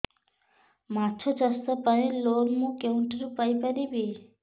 ମାଛ ଚାଷ ପାଇଁ ଲୋନ୍ ମୁଁ କେଉଁଠାରୁ ପାଇପାରିବି